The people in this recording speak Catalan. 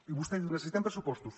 i vostè diu necessitem pressupostos